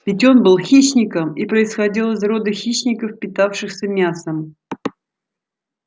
ведь он был хищником и происходил из рода хищников питавшихся мясом